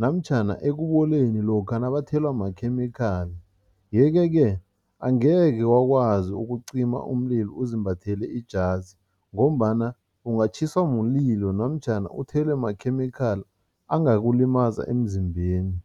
namtjhana ekuboleni lokha nabathelwa makhemikhali yeke-ke angeke wakwazi ukucima umlilo uzimbathele ijazi ngombana ungatjhiswa mlilo namtjhana uthelwe makhemikhali angakulimaza emzimbeni.